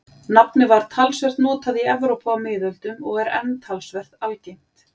Nafnið var talsvert notað í Evrópu á miðöldum og er enn talsvert algengt.